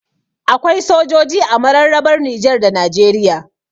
Akwai sojoji a mararrabar Nijar da Najeriya